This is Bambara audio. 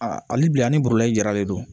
A hali bi ani boroli jaralen don